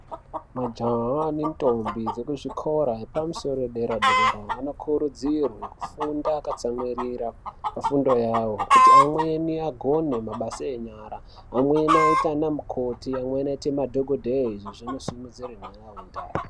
Majaha nendombi dzekuzvikora zvepamusoro padera-dera anokurudzirwe kufunda akatsamwirira pafundo yawo kuti amweni agone mabasa enyara amweni aite anamukoti amweni aite madhokodheya izvi zvinosimudzire nharaunda.